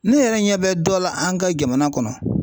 Ne yɛrɛ ɲɛ bɛ dɔ la an ka jamana kɔnɔ